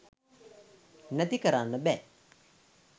නැති කරන්න බෑ